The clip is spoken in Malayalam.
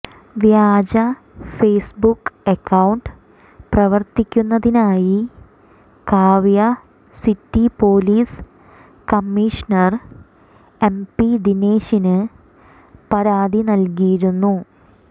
വ്യാജ ഫേസ്ബുക്ക് അക്കൌണ്ട് പ്രവര്ത്തിക്കുന്നതായി കാവ്യ സിറ്റി പൊലീസ് കമ്മിഷണർ എംപി ദിനേശിന് പരാതി നല്കിയിരുന്നു